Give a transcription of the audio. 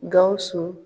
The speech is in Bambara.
Gawusu